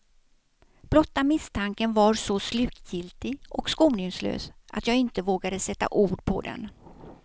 Blotta misstanken var så slutgiltig och skoningslös att jag inte vågade sätta ord på den.